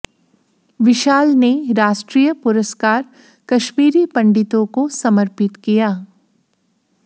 विशाल ने राष्ट्रीय पुरस्कार कश्मीरी पंडितों को समर्पित किया